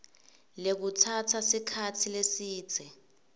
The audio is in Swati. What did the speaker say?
lekutsatsa sikhatsi lesidze